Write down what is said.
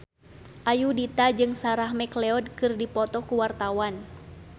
Ayudhita jeung Sarah McLeod keur dipoto ku wartawan